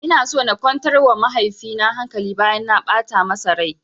Ina so na kwantar wa mahaifi na hankali bayan na ɓata masa rai